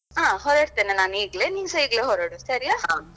ಹಾ ಹೊರಡ್ತೇನೆ ನಾನು ಈಗ್ಲೇ ನಿನ್ಸಾ ಈಗ್ಲೇ ಹೊರಡು ಸರಿಯಾ.